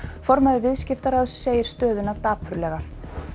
formaður Viðskiptaráðs segir stöðuna dapurlega